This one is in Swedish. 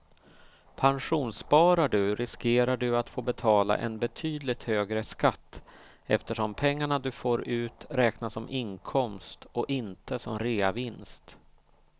Pensionssparar du riskerar du att få betala en betydligt högre skatt eftersom pengarna du får ut räknas som inkomst och inte som reavinst.